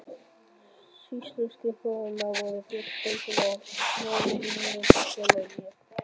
Sýsluskrifararnir voru Björn Sveinsson, Jón Runólfsson og ég.